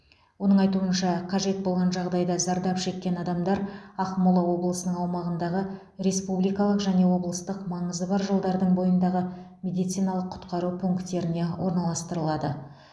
оның айтуынша қажет болған жағдайда зардап шеккен адамдар ақмола облысының аумағындағы республикалық және облыстық маңызы бар жолдардың бойындағы медициналық құтқару пункттеріне орналастырылады